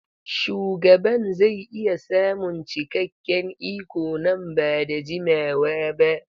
Shugaban zai iya samun cikakken iko nan ba da jimawa ba.